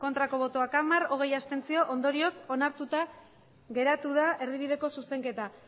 ez hamar abstentzioak hogei ondorioz onartuta geratu da erdibideko zuzenketa